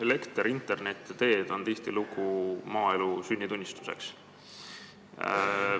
Elekter, internet ja teed on tihtilugu maaelu sünnitunnistuseks.